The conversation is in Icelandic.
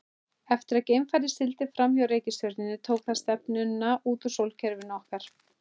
Eftir að geimfarið sigldi fram hjá reikistjörnunni tók það stefnuna út úr sólkerfinu okkar.